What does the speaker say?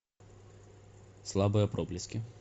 слабые проблески